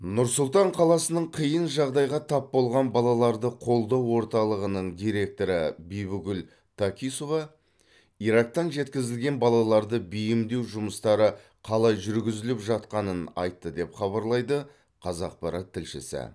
нұр сұлтан қаласының қиын жағдайға тап болған балаларды қолдау орталығының директоры бибігүл такисова ирактан жеткізілген балаларды бейімдеу жұмыстары қалай жүргізіліп жатқанын айтты деп хабарлайды қазақпарат тілшісі